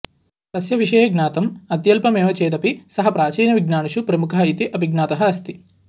तस्य विषये ज्ञातम् अत्यल्पमेव चेदपि सः प्राचीनविज्ञानिषु प्रमुखः इति अभिज्ञातः अस्ति